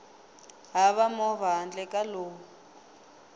hava movha handle ka lowu